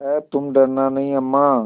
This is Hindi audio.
हैतुम डरना नहीं अम्मा